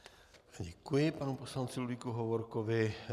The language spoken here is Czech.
Děkuji panu poslanci Ludvíku Hovorkovi.